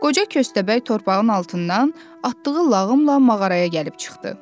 Qoca köstəbək torpağın altından atdığı lağımla mağaraya gəlib çıxdı.